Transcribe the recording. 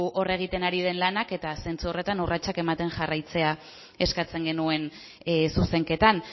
hor egiten ari den lanak eta zentzu horretan urratsak ematen jarraitzea eskatzen genuen zuzenketan